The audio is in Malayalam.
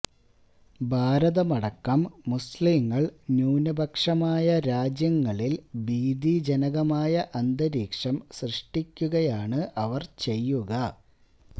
ഭാരതമടക്കം മുസഌങ്ങള് ന്യൂനപക്ഷമായ രാജ്യങ്ങളില് ഭീതിജനകമായ അന്തരീക്ഷം സൃഷ്ടിക്കുകയാണ് അവര് ചെയ്യുക